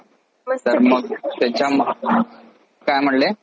आपण college ला जायचय असं तर नाही म्हणू शकत पण हे पण नाही म्हणू शकत कि college is the best